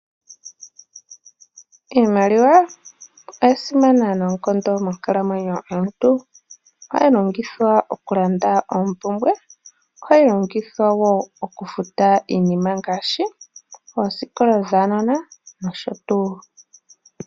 Iimaliwa oya simana noonkondo monkalamwenyo yomuntu, ohayi longithwa oku landa oompumbwe, ohayi longithwa okufuta wo iinima ngaashi oosikola dhuunona nosho tuu.